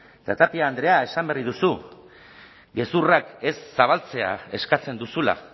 eta tapia andrea esan berri duzu gezurrak ez zabaltzea eskatzen duzula